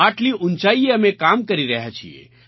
આટલી ઊંચાઈએ અમે કામ કરી રહ્યા છીએ